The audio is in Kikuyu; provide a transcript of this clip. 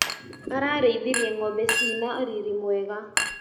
Ararĩithirie ngombe cina riri mwega.